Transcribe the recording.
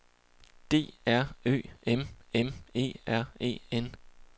D R Ø M M E R E N